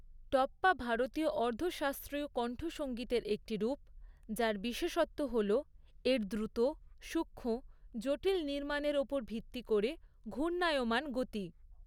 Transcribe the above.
টপ্পা ভারতীয় অর্ধ শাস্ত্রীয় কণ্ঠসংগীতের একটি রূপ, যার বিশেষত্ব হল এর দ্রুত, সূক্ষ্ম, জটিল নির্মাণের ওপর ভিত্তি করে ঘূর্ণায়মান গতি।